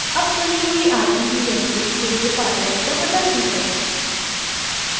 rgb चुनी हुई rgb values के लिए पारदर्शिता बदलती है